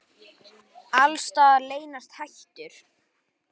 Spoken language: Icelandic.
Alls staðar leynast hættur.